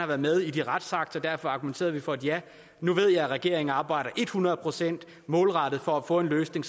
været med i de retsakter og derfor argumenterede vi for et ja nu ved jeg at regeringen arbejder et hundrede procent målrettet for at få en løsning